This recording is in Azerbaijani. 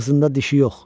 Ağzında dişi yox.